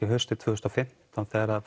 að haustið tvö þúsund og fimmtán þegar